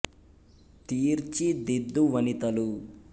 తీ ర్చి ది ద్దు వ ని త లు